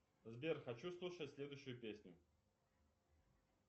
сбер хочу слушать следующую песню